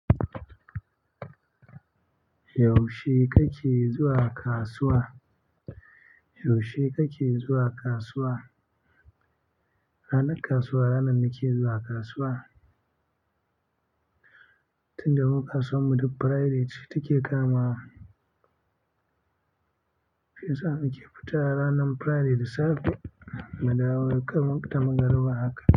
Yaushe kake zuwa kasuwa? Yaushe kake zuwa kasuwa? Ranar kasuwa, ranar nake zuwa kasuwa. Tunda mu ka suwanmu duk Friday ce kama. Shi yasa muke nake fita ranar Friday dasafe mu dawo da kamar magari ba haka.